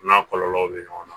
N'a kɔlɔlɔw bɛ ɲɔgɔn na